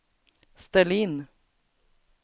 ställ in